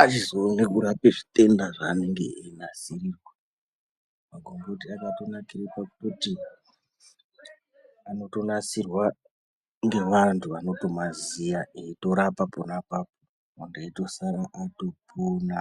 achizoona kurape zvitenda zvaanenge einasirirwa magomboti akatonakire pakuti anotonasirwe ngevantu vanotomaziya eitorapa pona apapo muntu eitosare atopona.